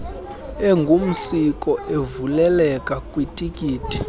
engumsiko evuleleka kwititi